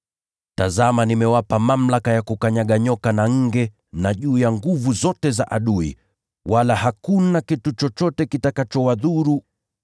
Tazama nimewapa mamlaka ya kukanyaga nyoka na nge na juu ya nguvu zote za adui; wala hakuna kitu chochote kitakachowadhuru.